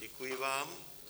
Děkuji vám.